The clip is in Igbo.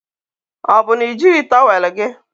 Ọ bụ na i jighị tọwel gị?